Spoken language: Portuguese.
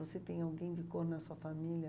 Você tem alguém de cor na sua família?